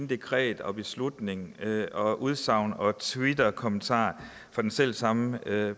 dekreter beslutninger udsagn og twitterkommentarer fra den selv samme